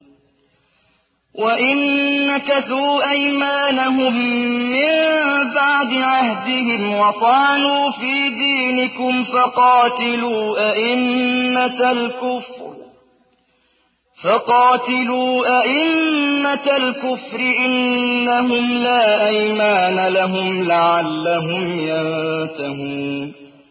وَإِن نَّكَثُوا أَيْمَانَهُم مِّن بَعْدِ عَهْدِهِمْ وَطَعَنُوا فِي دِينِكُمْ فَقَاتِلُوا أَئِمَّةَ الْكُفْرِ ۙ إِنَّهُمْ لَا أَيْمَانَ لَهُمْ لَعَلَّهُمْ يَنتَهُونَ